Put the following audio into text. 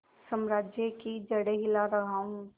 साम्राज्य की जड़ें हिला रहा हूं